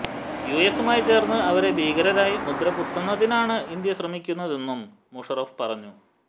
യുഎസുമായി ചേര്ന്ന് അവരെ ഭീകരരായി മുദ്രകുത്തുന്നതിനാണ് ഇന്ത്യ ശ്രമിക്കുന്നതെന്നും മുഷറഫ് പറഞ്ഞു